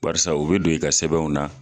Barisa o be don i ka sɛbɛnw na